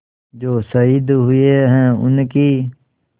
जो शहीद हुए हैं उनकी